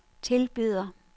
tilbyder